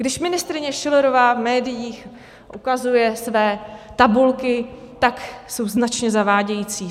Když ministryně Schillerová v médiích ukazuje své tabulky, tak jsou značně zavádějící.